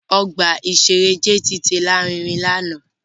Ọgbà-ìṣeré JTT lárinrin lánàá